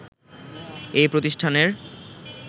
এই প্রতিষ্ঠানের